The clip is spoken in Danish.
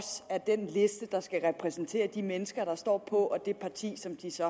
er den liste der skal repræsentere de mennesker der står på og det parti som de så